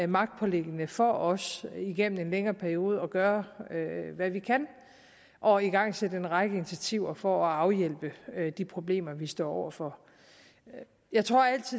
magtpåliggende for os igennem en længere periode at gøre hvad vi kan og igangsætte en række initiativer for at afhjælpe de problemer vi står over for jeg tror